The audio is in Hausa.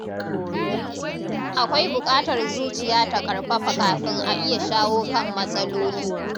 Akwai buƙatar zuciya ta ƙarfafa kafin a iya shawo kan matsaloli.